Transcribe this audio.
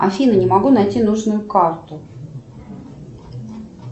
афина не могу найти нужную карту